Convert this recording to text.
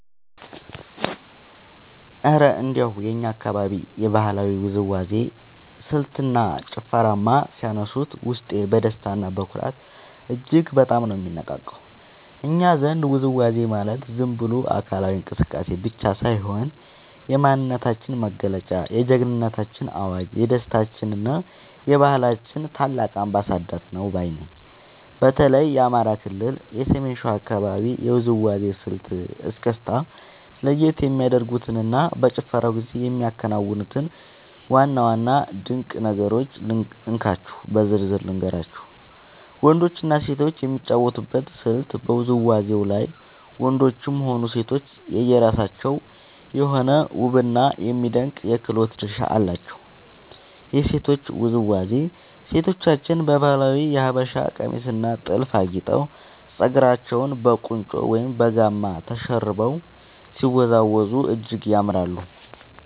እረ እንደው የእኛን አካባቢ የባህላዊ ውዝዋዜ ስልትና ጭፈርማ ሲያነሱት፣ ውስጤ በደስታና በኩራት እጅግ በጣም ነው የሚነቃቃው! እኛ ዘንድ ውዝዋዜ ማለት ዝም ብሎ አካላዊ እንቅስቃሴ ብቻ ሳይሆን፣ የማንነታችን መገለጫ፣ የጀግንነታችን አዋጅ፣ የደስታችንና የባህላችን ታላቅ አምባሳደር ነው ባይ ነኝ። በተለይ የአማራ ክልል የሰሜን ሸዋ አካባቢን የውዝዋዜ ስልት (እስክስታ) ለየት የሚያደርጉትንና በጭፈራው ጊዜ የሚከናወኑትን ዋና ዋና ድንቅ ነገሮች እንካችሁ በዝርዝር ልንገራችሁ፦ . ወንዶችና ሴቶች የሚጫወቱበት ስልት በውዝዋዜው ላይ ወንዶችም ሆኑ ሴቶች የየራሳቸው የሆነ ውብና የሚደነቅ የክህሎት ድርሻ አላቸው። የሴቶቹ ውዝዋዜ፦ ሴቶቻችን በባህላዊው የሀበሻ ቀሚስና ጥልፍ አጊጠው፣ ፀጉራቸውን በቁንጮ ወይም በጋማ ተሸርበው ሲወዝወዙ እጅግ ያምራሉ።